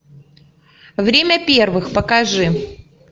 время первых покажи